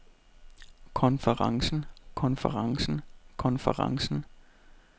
konferencen konferencen konferencen